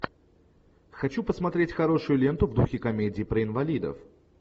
хочу посмотреть хорошую ленту в духе комедии про инвалидов